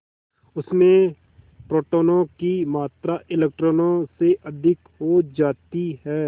उसमें प्रोटोनों की मात्रा इलेक्ट्रॉनों से अधिक हो जाती है